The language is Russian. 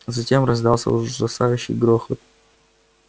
затем раздался ужасающий грохот